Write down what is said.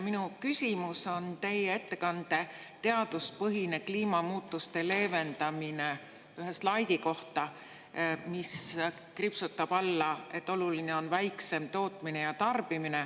Minu küsimus on teie ettekande ühe slaidi kohta ‒ "Teaduspõhine kliimamuutuste leevendamine ja kohanemine" ‒, mis kriipsutab alla selle, et oluline on väiksem tootmine ja tarbimine.